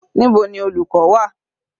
Níbo ni olùkọ́ wà?